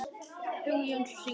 Hugi Jónsson syngur.